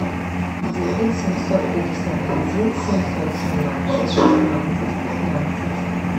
девять семьсот пятьдесят один семьсот семнадцать шестнадцать пятнадцать